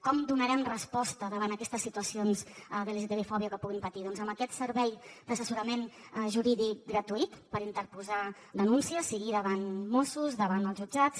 com donarem resposta davant aquestes situacions de lgtbi fòbia que puguin patir doncs amb aquest servei d’assessorament jurídic gratuït per interposar denúncia sigui davant mossos davant els jutjats